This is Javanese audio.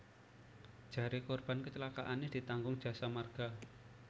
Jare korban kecelakaane ditanggung Jasa Marga